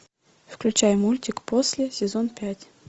включай мультик после сезон пять